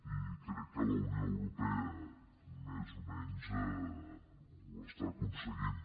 i crec que la unió europea més o menys ho està aconseguint